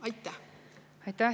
Aitäh!